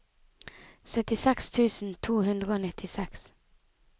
syttiseks tusen to hundre og nittiseks